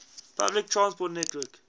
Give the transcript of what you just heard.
public transport network